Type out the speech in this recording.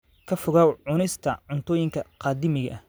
Ka fogow cunista cuntooyinka qadiimiga ah.